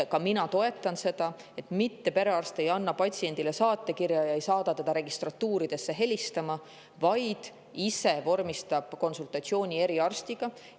Ka mina toetan seda, et perearst ei anna patsiendile saatekirja ja ei saada teda registratuuridele helistama, vaid ise vormistab konsultatsiooni eriarstiga.